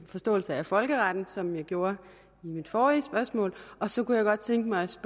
forståelse af folkeretten sådan som jeg gjorde i mit forrige spørgsmål og så kunne jeg godt tænke mig også